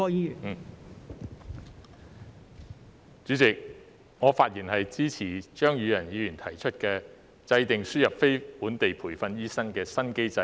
代理主席，我發言支持張宇人議員提出的"制訂輸入非本地培訓醫生的新機制"議案。